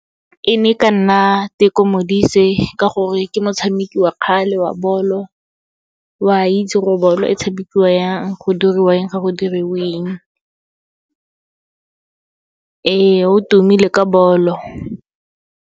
E ne e ka nna Teko Modise, ka gore ke motshameki wa kgale wa bolo, wa itse gore bolo e tshamekiwa yang, go dira eng, ga go diriwe eng. Ee, o tumile ka bolo.